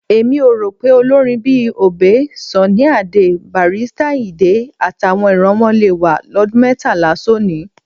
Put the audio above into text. Èmi ò rò pé olórin bíi Obey, Sunny Adé, Barrister Àyìndé, àtàwọn ìran wọn le wà lọ́dún mẹ́tàlá sónìí.